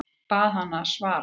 Bað hana að svara mér.